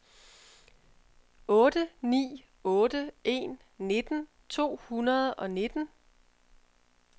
otte ni otte en nitten to hundrede og nitten